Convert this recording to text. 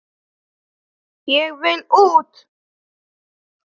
Ég vil út!